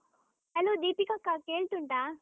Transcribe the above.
Hello ದೀಪಿಕಕ್ಕಾ, ಕೇಳ್ತುಂಟಾ?